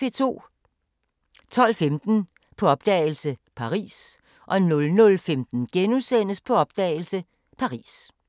12:15: På opdagelse – Paris 00:15: På opdagelse – Paris *